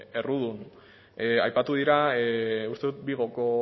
errudun aipatu dira uste dut vigoko